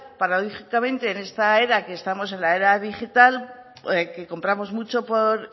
paradójicamente en esta era que estamos en la era digital que compramos muchos por